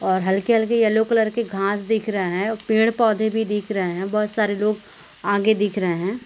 और हल्के हल्के यलो कलर के घास दिख रहे है और पेड़ पोधे भी दिख रहे है बहुत सारे लोग आगे दिख रहे रहे है।